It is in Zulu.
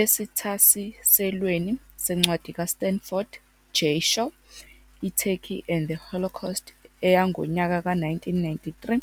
Esithasiselweni sencwadi kaStanford J. Shaw "iTurkey and the Holocaust", 1993,